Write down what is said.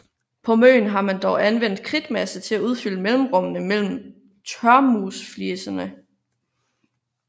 På Møn har man dog anvendt kridtmasse til at udfylde mellemrummene mellem tørmursfliserne